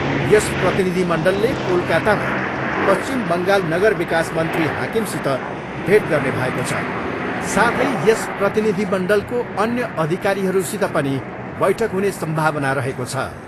यस प्रतिनिधिमण्डलले कोलकातामा पश्चिम बङ्गाल नगर विकास मन्त्री हकिमसित भेट गर्ने भएको छ, साथै यस प्रतिनिधिमण्डलको अन्य अधिकारीहरूसित पनि बैठक हुने सम्भावना रहेको छ।